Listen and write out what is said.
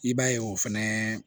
I b'a ye o fɛnɛ